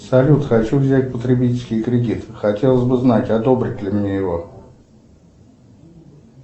салют хочу взять потребительский кредит хотелось бы знать одобрят ли мне его